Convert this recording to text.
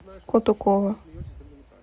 кутукова